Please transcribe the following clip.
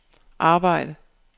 arbejde